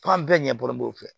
F'an bɛɛ ɲɛ bɔlɔboli fɛ